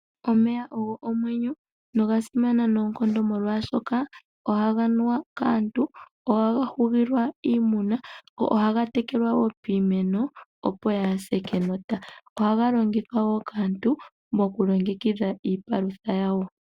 Omeya ogo omwenyo no gasimana noonkondo molwaashoka, ohaga nuwa kaantu , ohaga hugilwa iimuna , ohaga tekelwa woo piimeno opo kaa yise enota , ohaga longithwa woo kaantu moku longe kidha iipalutha yawo.